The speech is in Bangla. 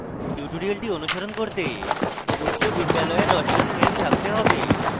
tutorial অনুসরণ করতে উচ্চ বিদ্যালয়ের রসায়ন জ্ঞান থাকতে have